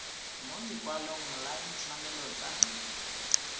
mo lekwalong la ditshwanelo tsa